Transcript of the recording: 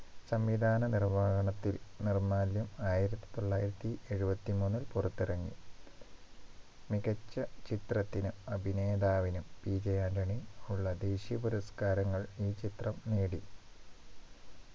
സംവിധാന നിർവഹണത്തിൽ നിർമാല്യം ആയിരത്തി തൊള്ളായിരത്തി എഴുപത്തി മൂന്നിൽ പുറത്തിറങ്ങി മികച്ച ചിത്രത്തിന് അഭിനേതാവിനും PJ ആന്റണി ഉള്ള ദേശീയ പുരസ്കാരങ്ങൾ ഈ ചിത്രം നേടി